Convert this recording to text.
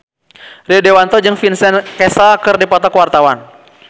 Rio Dewanto jeung Vincent Cassel keur dipoto ku wartawan